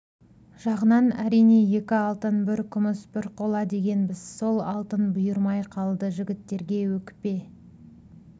жағынан әрине екі алтын бір күміс бір қола дегенбіз сол алтын бұйырмай қалды жігіттерге өкпе